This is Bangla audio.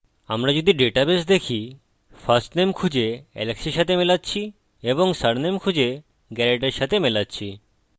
আমরা যদি ডাটাবেস দেখি firstname খুঁজে alex এর সাথে মেলাচ্ছি ও সারনেম খুঁজে garret এর সাথে মেলাচ্ছি